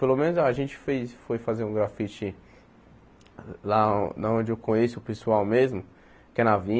Pelo menos a gente fez foi fazer um grafite lá na onde eu conheço o pessoal mesmo, que é na